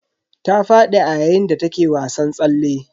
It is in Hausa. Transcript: Ta fadi a yayin da take wasan tsalle.